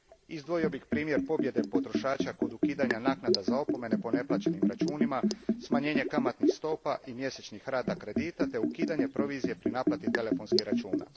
Izdvojio bih primjer pobjede potrošača kod ukidanja naknada za opomene po neplaćenim računima, smanjenje kamatnih stopa i mjesečnih rata kredita te ukidanje provizije pri naplati telefonskih računa.